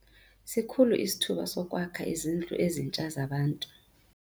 Sikhulu isithuba sokwakha izindlu ezintsha zabantu.